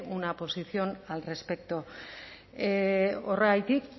una posición al respecto horregatik